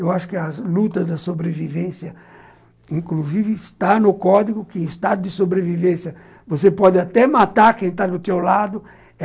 Eu acho que a luta da sobrevivência, inclusive, está no código que em estado de sobrevivência você pode até matar quem está do seu lado.